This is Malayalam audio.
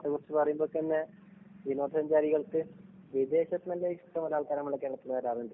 കേരളത്തെക്കുറിച്ച് പറയുമ്പോള്‍ തന്നെ വിനോദ സഞ്ചാരികള്‍ക്ക് വിദേശത്തില്‍ നിന്നു തന്നെ ഇഷ്ടം പോലെ ആള്‍ക്കാര് നമ്മുടെ കേരളത്തിലേക്ക് വരാറുണ്ട്.